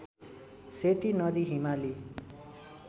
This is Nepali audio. सेती नदी हिमाली